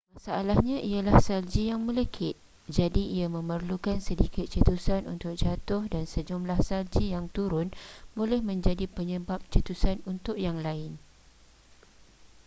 masalahnya ialah salji yang melekit jadi ia memerlukan sedikit cetusan untuk jatuh dan sejumlah salji yang turun boleh menjadi penyebab cetusan untuk yang lain